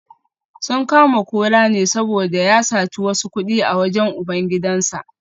Sun kama Kola ne saboda ya saci wasu kudi a wajen ubangidansa